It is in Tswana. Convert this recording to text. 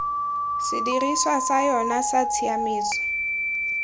sedirisiwa sa yona sa tshiaimiso